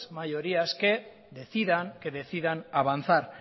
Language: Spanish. mayorías que decidan avanzar